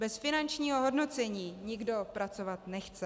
Bez finančního hodnocení nikdo pracovat nechce.